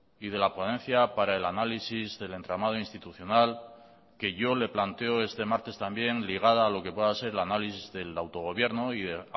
y de la ponencia para el análisis del entramado institucional que yo le planteo este martes también ligada a lo que pueda ser el análisis del autogobierno y de